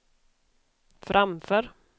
framför